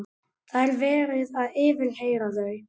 Það er verið að yfirheyra þau.